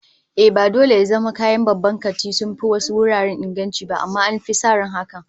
Ehh, ba dole ya zama kayan babban kanti sun fi wasu wuraren inganci ba, amma an fi sa ran haka